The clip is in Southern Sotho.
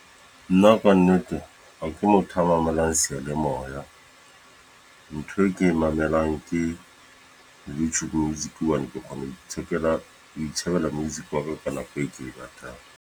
Nna Ka nnete ha ke motho a mamelang seyalemoya. Ntho e ke e mamelang ke YouTube music. Hobane ke kgone ho ithekela, ho itjhebela music wa ka ka nako e ke e ratang.